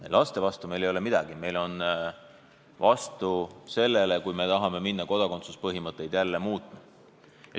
Ei, laste vastu ei ole meil midagi, me oleme vastu sellele, kui tahetakse jälle minna kodakondsuspõhimõtteid muutma.